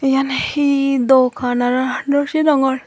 iyan he dogan aro no sinongor.